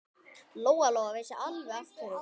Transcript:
Lóa-Lóa vissi alveg af hverju.